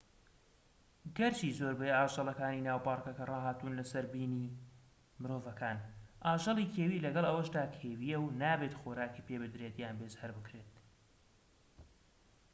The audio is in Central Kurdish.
گەرچی زۆربەی ئاژەڵەکانی ناو پارکەکە ڕاهاتوون لە سەر بینی مرۆڤەکان ئاژەڵی کێوی لەگەڵ ئەوەشدا کێویە و نابێت خۆراکی پێ بدرێت یان بێزار بکرێت